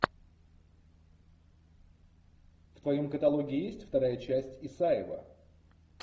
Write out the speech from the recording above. в твоем каталоге есть вторая часть исаева